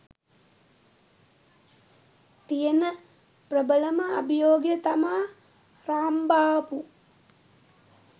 තියෙන ප්‍රභලම අභියෝගය තමා රාම්බාබු.